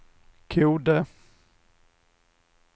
Kode